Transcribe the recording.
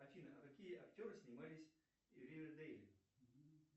афина а какие актеры снимались в ривердейле